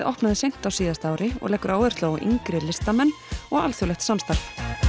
opnaði seint á síðasta ári og leggur áherslu á yngri listamenn og alþjóðlegt samstarf